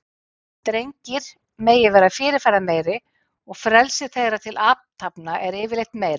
Drengir megi vera fyrirferðameiri og frelsi þeirra til athafna er yfirleitt meira.